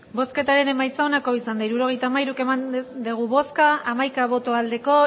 hirurogeita hamairu eman dugu bozka hamaika bai